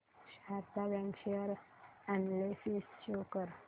Sharda bank share analysis show कर